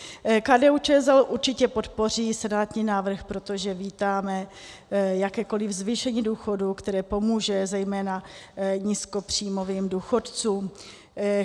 KDU-ČSL určitě podpoří senátní návrh, protože vítáme jakékoliv zvýšení důchodů, které pomůže zejména nízkopříjmovým důchodcům.